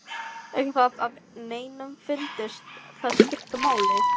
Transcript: Ekki það að neinum fyndist það skipta máli.